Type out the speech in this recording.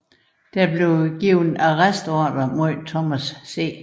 Der blev afgivet arrestordre mod Thomas C